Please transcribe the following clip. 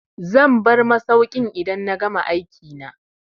Zan bar masaukin idan na gama aikina.